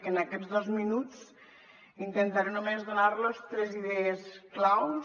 en aquests dos minuts intentaré només donar los tres idees claus